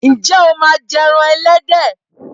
Ǹjẹ́ o máa ń jẹ ẹran ẹlẹ́dẹ̀?